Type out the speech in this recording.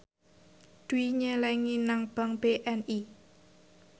Dwi nyelengi nang bank BNI